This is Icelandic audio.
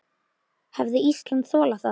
Hefði Ísland þolað það?